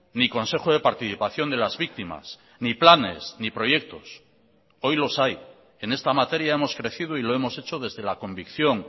ni consejo de participación de las víctimas ni planes ni proyectos hoy los hay en esta materia hemos crecido y lo hemos hecho desde la convicción